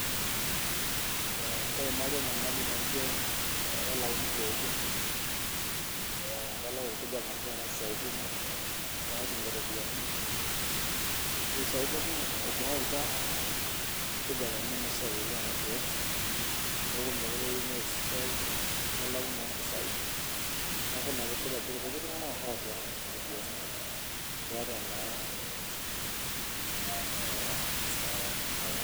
Keimari enyamali naijo, kelauni siaitin, kelau taata irkijanani siaitin naatumie ropiyiani, ore sii aitoki ,etinjingakita irkinyanani oleng ena siai orkeek neeku teneitu ees esiai nelau naa irkeek ,neeku irkutik tunganak oota ropiyiani..